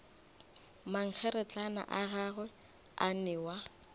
mankgeretlana a gagwe a newa